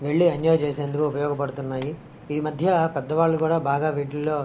వెళ్లి ఎంజాయ్ చేసినందుకు ఉపయోగపడుతున్నాయి. ఈ మధ్య పెద్దవాళ్లు కూడా వీటులో --